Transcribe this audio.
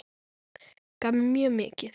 Gaf mér mjög mikið.